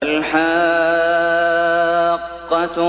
الْحَاقَّةُ